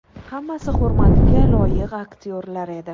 Hammasi hurmatga loyiq aktyorlar edi.